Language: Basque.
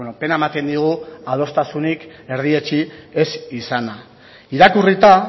pena ematen digu adostasunik erdietsi ez izana irakurrita